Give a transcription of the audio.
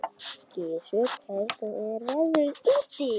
Gissur, hvernig er veðrið úti?